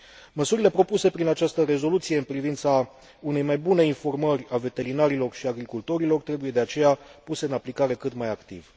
Măsurile propuse prin această rezoluție în privința unei mai bune informări a veterinarilor și agricultorilor trebuie, de aceea, puse în aplicare cât mai activ.